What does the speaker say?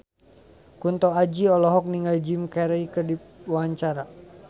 Kunto Aji olohok ningali Jim Carey keur diwawancara